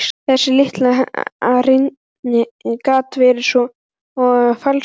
Þessi litli rindill gat verið svo falskur.